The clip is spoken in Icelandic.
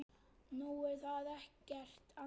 Nú, það er ekkert annað.